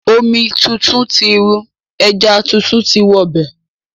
Omi tuntun ti rú, ẹja tuntun ti wọ bẹ̀.